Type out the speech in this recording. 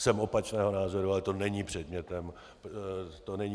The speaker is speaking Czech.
Jsem opačného názoru, ale to není předmětem projednávaných materií.